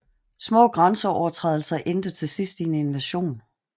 Små grænseovertrædelser endte til sidst i en invasion